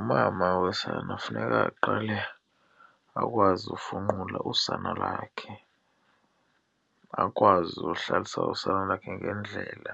Umama wesana funeka aqale akwazi ukufunqula usana lakhe, akwazi uhlalisa usana lwakhe ngendlela,